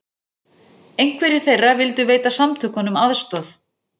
Einhverjir þeirra vildu veita samtökunum aðstoð